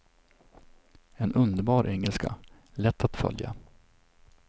En underbar engelska, lätt att följa.